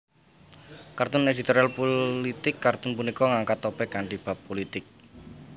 Kartun editorial pulitik kartun punika ngangkat topik kanthi bab pulitik